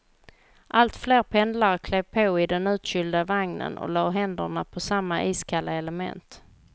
Allt fler pendlare klev på i den utkylda vagnen och lade händerna på samma iskalla element.